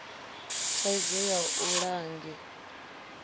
thaidzo ya u ḽa nge